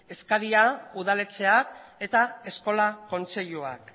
eskaria udaletxeak eta eskola kontseiluak